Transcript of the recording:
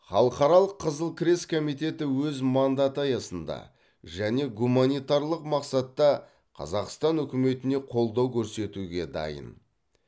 халықаралық қызыл крест комитеті өз мандаты аясында және гуманитарлық мақсатта қазақстан үкіметіне қолдау көрсетуге дайын